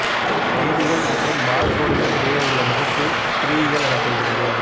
செய்திகள் மற்றும் பார்கோடுகள் இடையே உள்ள முகப்பு குறியியல் எனப்படுகிறது